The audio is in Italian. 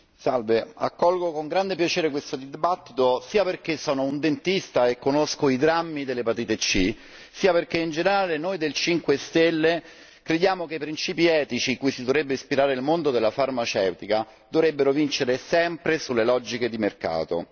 Signor Presidente, onorevoli colleghi, accolgo con grande piacere questo dibattito, sia perché sono un dentista e conosco i drammi dell'epatite C sia perché in generale noi del Movimento 5 Stelle crediamo che i principi etici, cui si dovrebbe ispirare il mondo della farmaceutica dovrebbero vincere sempre sulle logiche di mercato.